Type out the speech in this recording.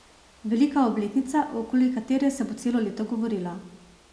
Velika obletnica, okoli katere se bo celo leto govorilo.